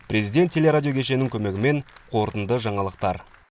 президент теле радио кешенінің көмегімен қорытынды жаңалықтар